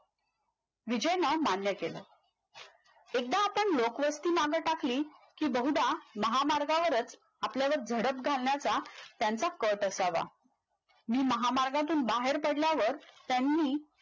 विजयनं मान्य केलं एकदा आपण लोकवस्ती माग टाकली कि बहुदा महामार्गावरच आपल्याला घडत घालण्याचा त्यांचा कट असावा मी महामार्गातून बाहेर पडल्यावर त्यांनी